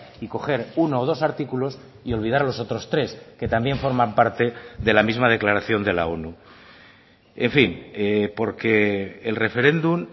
y coger uno o dos artículos y olvidar los otros tres que también forman parte de la misma declaración de la onu en fin porque el referéndum